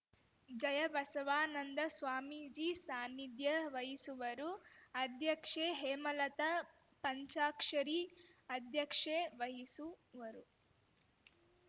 ಜಯಬಸವಾನಂದ ಸ್ವಾಮೀಜಿ ಸಾನ್ನಿಧ್ಯ ವಹಿಸುವರು ಅಧ್ಯಕ್ಷೆ ಹೇಮಲತಾ ಪಂಚಾಕ್ಷರಿ ಅಧ್ಯಕ್ಷೆ ವಹಿಸುವರು